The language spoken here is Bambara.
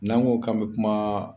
N'an ko k'an be kuma